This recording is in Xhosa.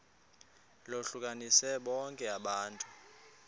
lohlukanise bonke abantu